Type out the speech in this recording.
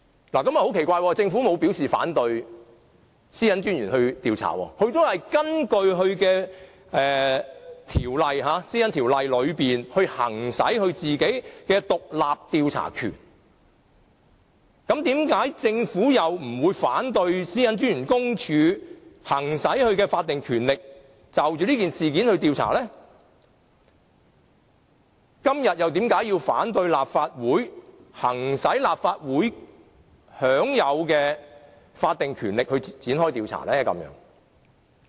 不過，很奇怪，政府沒有表示反對公署調查，而公署也是根據《個人資料條例》來行使其獨立調查權，那麼，為何政府不反對公署行使其法定權力，就這事件進行調查，但今天卻反對立法會行使立法會享有的法定權力而展開調查呢？